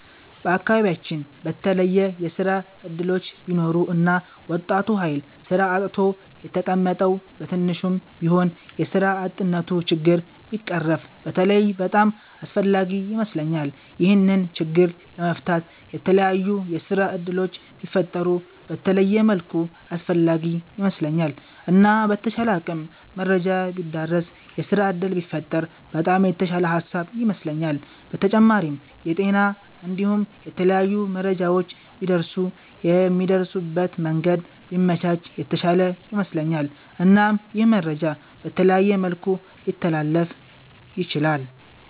በአከባቢያቺን በተለየ የስራ እድሎች ቢኖሩ እና ወጣቱ ሀይል ስራ አጥቶ የተቀመጠዉ በትንሹም ቢሆን የስራ አጥነቱ ችግር ቢቀረፍ በተለይ በጣም አስፍላጊ ይመስለኛል። ይሄንን ችግር ለመፍታት የተላያዩ የስራ እድሎች ቢፈጠሩ በተለየ መልኩ አስፈላጊ ይመስለኛል። እና በተቻለ አቅም መረጃ ቢዳረስ የስራ እድል ቢፈጠር በጣም የተሻለ ሃሳብ ይመስለኛል። በተጫማሪም የጤና እንዲሁም የተለያዩ መረጃዎች ቢደርሱ የሚደርሱበት መንገድ ቢመቻች የተሻለ ይመስለኛል። እናም ይህ መረጃ በተለያየ መልኩ ሊተላለፍ ይችላል።